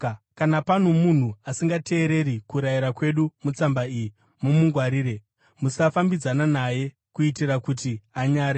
Kana pano munhu asingateereri kurayira kwedu mutsamba iyi, mumungwarire. Musafambidzana naye, kuitira kuti anyare.